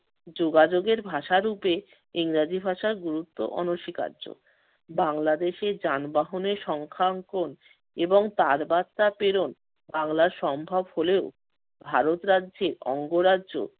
যোগাযোগের ভাষারূপে ইংরেজি ভাষার গুরুত্ব অনস্বীকার্য। বাংলাদেশের যানবাহনের সংখ্যাঙ্কন এবং তারবার্তা প্রেরণ বাংলায় সম্ভব হলেও ভারত রাজ্যের অঙ্গরাজ্য